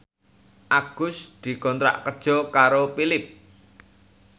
Agus dikontrak kerja karo Philips